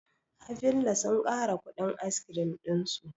Havillah sun ƙara kuɗin askirim ɗinsu